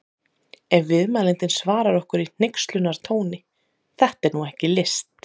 Ef viðmælandinn svarar okkur í hneykslunartóni: Þetta er nú ekki list!